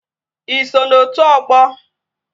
Ị so na otu ọgbọ?